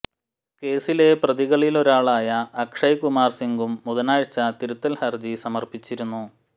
കേസിലെ പ്രതികളിലൊരാളായ അക്ഷയ് കുമാർ സിംഗും ബുധനാഴ്ച തിരുത്തൽ ഹർജി സമർപ്പിച്ചിരുന്നു